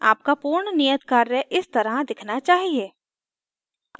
आपका पूर्ण नियत कार्य इस तरह दिखना चाहिए